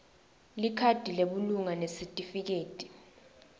likhadi lebulunga nesitifiketi